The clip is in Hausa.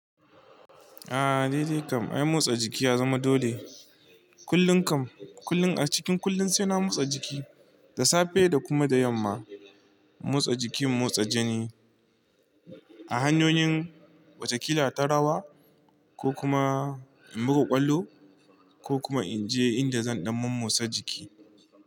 A, dai dai kam ai motsa jiki ya zama dole. Kullun kam kullun a cikin kullun sai na motsa jiki, da safe da kuma da yamma. Motsa jiki motsa jini. A hanyoyin wataƙila ta rawa ko kuma in buga ƙwallo ko kuma in je inda zan ɗan mommotsa jiki.